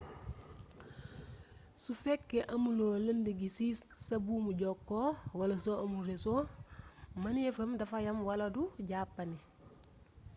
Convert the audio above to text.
su fekkee amuloo lënd gi ci sa buumu jokkoo wala su amul reso mëneefam dafa yam wala du jàppandi